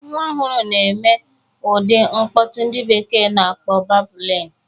Nwa ọhụrụ na-eme ụdị mkpọtụ ndị bekee na-akpọ babụlịn.